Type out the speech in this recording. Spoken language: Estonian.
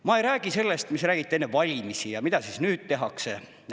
Ma ei räägi sellest, mida räägiti enne valimisi ja mida nüüd tehakse.